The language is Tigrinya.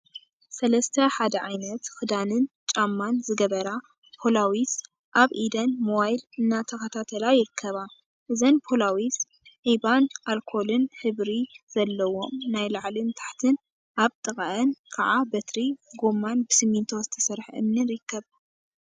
ሰለስተ ሓደ ዓይነት ክዳንን ጫማን ዝገበራ ፖላዊስ ኣብ ኢደን ሞባይል እናተከታተላ ይርከባ። እዘን ፖላዊስ ዒባን ኣልኮልን ሕብሪ ዘለዎም ናይ ላዕሊን ታሕቲን ኣብ ጥቃኣን ከዓ በትሪ፣ ጎማን ብስሚንቶ ዝተሰርሐ እምኒን ይርከቡ።